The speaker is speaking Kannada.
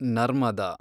ನರ್ಮದ